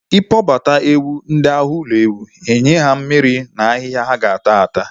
I kpọbata ụmụ ewu ndị ahụ ụlọ ewu, nye ha mmiri na ahịhịa ha ga-ata